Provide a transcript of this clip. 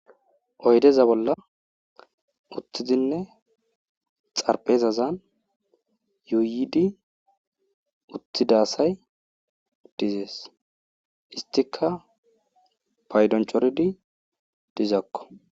Oyddeza bolla uttidinne xarphezazan yuuyidi uttida asay dizezes. Istikka paydon coridi dizakko.